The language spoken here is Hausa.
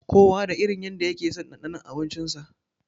Kowa da irin yanda yakeson ɗanɗanon abinci sa.